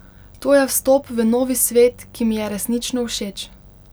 To je vstop v novi svet, ki mi je resnično všeč.